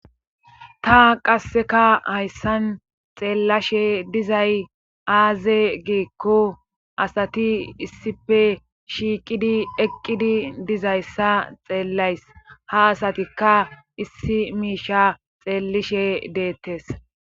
Ta qasseka hayssan xeellashe dizay aaze giikko asati issife shiiqidi eqqidi dizayssa xeellays ha asatikka issi miishsh xeellishe deettees